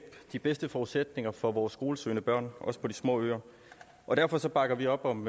de bedste forudsætninger for vores skolesøgende børn også på de små øer og derfor bakker vi op om